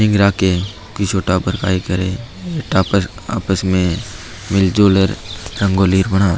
निंग राखे किस्यो टाबर काई करे टॉबर आपस में मिल जुल रंगोली बनावे।